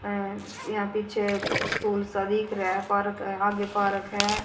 अ यहां chair school सब दिख रहा है पर्क आगे पार्क है।